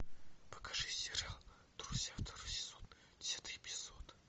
покажи сериал друзья второй сезон десятый эпизод